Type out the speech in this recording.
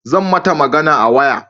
Zan mata magana a waya